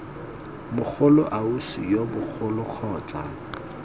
mogolo ausi yo mogolo kgotsa